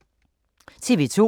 TV 2